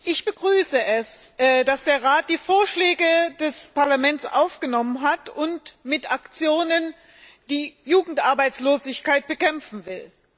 Ich begrüße es, dass der Rat die Vorschläge des Parlaments aufgenommen hat und mit Aktionen die Jugendarbeitslosigkeit bekämpfen will.